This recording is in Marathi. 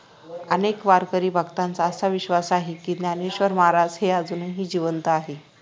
अनेक वारकरी भक्तांचा आसा विश्वास आहे कि ज्ञानेश्वर महाराज हे आजूनही जिवंत आहेत